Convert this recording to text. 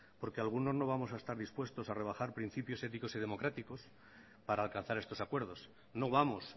porque algunos no vamos a estar dispuestos a rebajar principios éticos y democráticos para alcanzar estos acuerdos no vamos